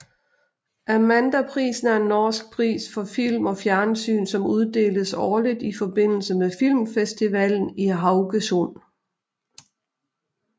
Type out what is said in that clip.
Amandaprisen er en norsk pris for film og fjernsyn som uddeles årligt i forbindelse med Filmfestivalen i Haugesund